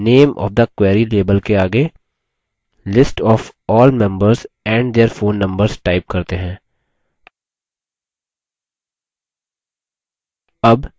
name of the query label के आगे list of all members and their phone numbers type करते हैं